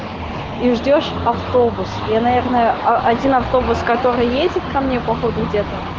и ждёшь автобус я наверное один автобус который едет ко мне по ходу дела